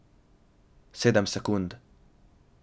Sedem sekund.